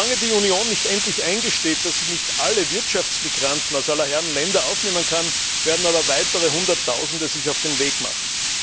Solange die Union nicht endlich eingesteht, dass sie nicht alle Wirtschaftsmigranten aus aller Herren Länder aufnehmen kann, werden sich aber weiter Hunderttausende auf den Weg machen.